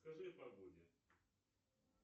скажи о погоде